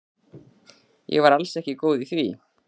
Ég var alls ekki góð í því.